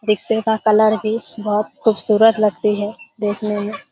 रिक्से का कलर भी बहोत खूबसूरत लगती है देखने में।